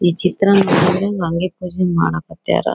ಈ ಚಿತ್ರ ನೋಡಿದ್ರೆ ನಂಗೆ ಮಾಡಕ್ ಹತ್ಯಾರ.